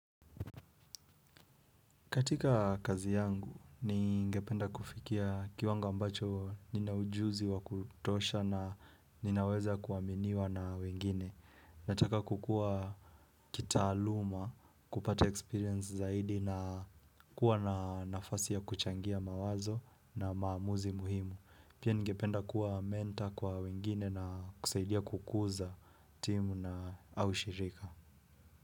Katika kazi yangu, ningependa kufikia kiwanga ambacho nina ujuzi wa kutosha na ninaweza kuaminiwa na wengine. Nataka kukua kitaaluma, kupata experience zaidi na kuwa na nafasi ya kuchangia mawazo na maamuzi muhimu. Pia ningependa kuwa mentor kwa wengine na kusaidia kukuza timu na, au shirika.